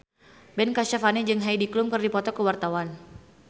Ben Kasyafani jeung Heidi Klum keur dipoto ku wartawan